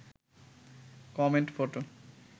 comment photo